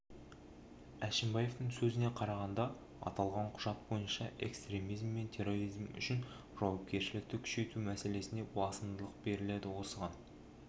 әшімбаевтың сөзіне қарағанда аталған құжат бойынша экстремизм мен терроризм үшін жауапкершілікті күшейту мәселесіне басымдық беріледі осыған